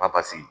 Ba pase